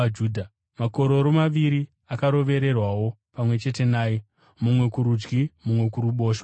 Makororo maviri akarovererwawo pamwe chete naye, mumwe kurudyi mumwe kuruboshwe.